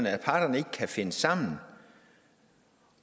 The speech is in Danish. at parterne ikke kan finde sammen